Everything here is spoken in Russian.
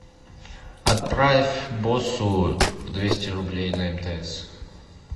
отправь боссу двести рублей на мтс